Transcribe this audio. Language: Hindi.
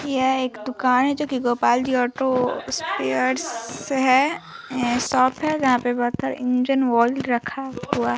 यह एक दुकान है जो की गोपाल जी ऑटो स्पर्स है ये शॉप जहाँ पे बहुत सारे इंजन ऑइल रखा हुआ है ।